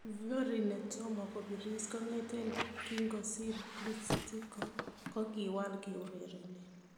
Fury netomo kobiriis kongeten kinkosiir Klitschko kokiwaal "keureren"